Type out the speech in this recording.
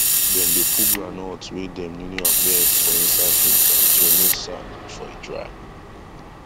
dem dey put groundnut wey dem newly harvest for inside filter to remove sand before e dry